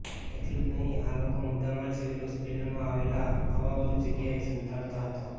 એટલું જ નહીં આ લોકો મુદ્દામાલ સિવિલ હોસ્પિટલમાં આવેલા અવાવરૂ જગ્યાએ સંતાડતા હતા